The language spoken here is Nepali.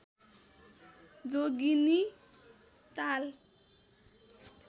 जोगीनी ताल